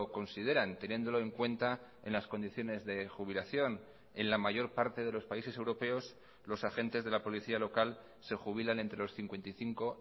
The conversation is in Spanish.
consideran teniéndolo en cuenta en las condiciones de jubilación en la mayor parte de los países europeos los agentes de la policía local se jubilan entre los cincuenta y cinco